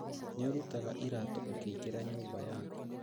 Nĩũrutaga iratũ ũkĩingĩra nyumba yaku